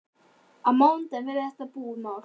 Á mánudaginn verður þetta búið mál.